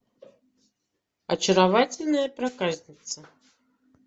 очаровательная проказница